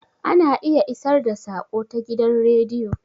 Ana iya isar da saƙo ta gidan radio